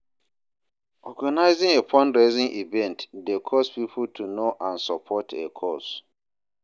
Organizing a fundraising event dey cause pipo to know and support a cause.